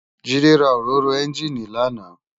Jide rá óróró ènjiní làná